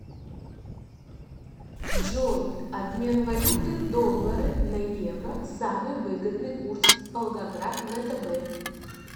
джой обмен валюты доллары на евро самый выгодный курс волгоград втб